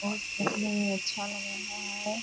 बहोत फ़सलें हैं अच्छा लग रहा है।